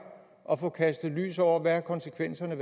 at få kastet lys over hvad konsekvenserne af